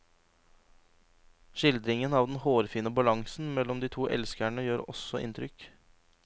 Skildringen av den hårfine balansen mellom de to elskerne gjør også inntrykk.